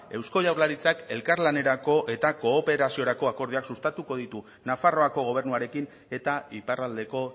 eusko jaurlaritzak elkarlanerako eta kooperaziorako akordioak sustatuko ditu nafarroako gobernuarekin eta iparraldeko